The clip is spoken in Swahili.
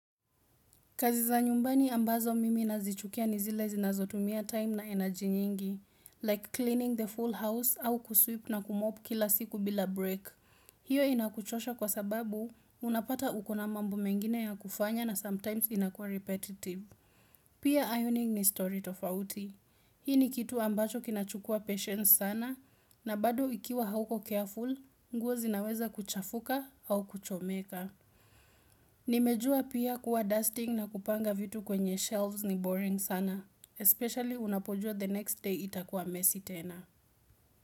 Kazi za nyumbani ambazo mimi nazichukia ni zile zinazotumia time na energy nyingi. Like cleaning the full house au kusweep na kumop kila siku bila break. Hiyo inakuchosha kwa sababu, unapata uko na mambo mengine ya kufanya na sometimes inakua repetitive. Pia ironing ni story tofauti. Hii ni kitu ambacho kinachukua patience sana, na bado ikiwa hauko careful, nguo zinaweza kuchafuka au kuchomeka. Nimejua pia kuwa dusting na kupanga vitu kwenye shelves ni boring sana. Especially unapojua the next day itakuwa mesi tena.